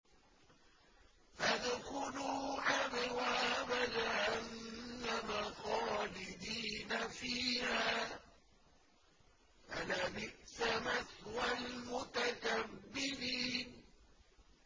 فَادْخُلُوا أَبْوَابَ جَهَنَّمَ خَالِدِينَ فِيهَا ۖ فَلَبِئْسَ مَثْوَى الْمُتَكَبِّرِينَ